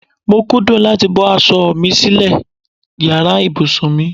Mo kúndùn láti bọ́ aṣọ mi sílè yàrá ìbùsùn mi.